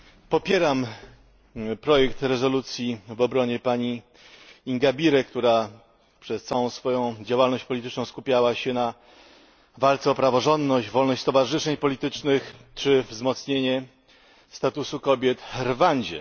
Popieram projekt rezolucji w obronie pani Ingabire, która przez całą swoją działalność polityczną skupiała się na walce o praworządność, wolność stowarzyszeń politycznych czy umocnienie statusu kobiet w Rwandzie.